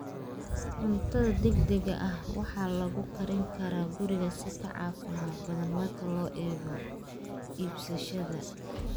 Cuntada degdega ah waxaa lagu karin karaa guriga si ka caafimaad badan marka loo eego iibsashada.